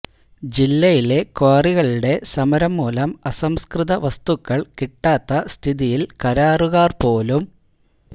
ജില്ലയിലെ ക്വാറികളുടെ സമരം മൂലം അസംസ്കൃത വസ്തുക്കൾ കിട്ടാത്ത സ്ഥിതിയിൽ കരാറുകാർ പോലും